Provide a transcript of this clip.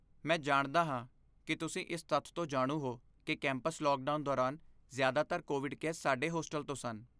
ਮੈਂ ਜਾਣਦਾ ਹਾਂ ਕਿ ਤੁਸੀਂ ਇਸ ਤੱਥ ਤੋਂ ਜਾਣੂ ਹੋ ਕਿ ਕੈਂਪਸ ਲੌਕਡਾਊਨ ਦੌਰਾਨ, ਜ਼ਿਆਦਾਤਰ ਕੋਵਿਡ ਕੇਸ ਸਾਡੇ ਹੋਸਟਲ ਤੋਂ ਸਨ।